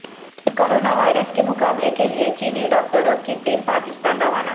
corona virus کے مقابلے کے لیے چینی ڈاکٹروں کی ٹیم پاکستان روانہ